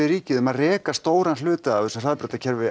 ríkið um að reka stóran hluta af þessu samgöngukerfi